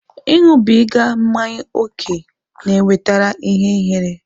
Ịṅụbiga mmanya ókè na-ewetakarị ihe ihere.